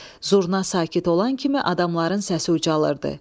Zurna sakit olan kimi adamların səsi ucalırdı.